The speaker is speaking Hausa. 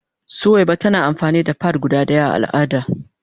Suwaiba tana amfani da "pad" guda daya a al'ada.